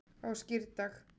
á skírdag